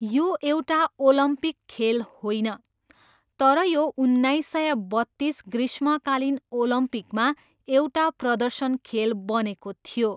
यो एउटा ओलम्पिक खेल होइन, तर यो उन्नाइस सय बत्तिस ग्रीष्मकालीन ओलम्पिकमा एउटा प्रदर्शन खेल बनेको थियो।